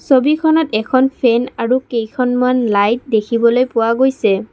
ছবিখনত এখন ফেন আৰু কেইখনমান লাইট দেখিবলৈ পোৱা গৈছে।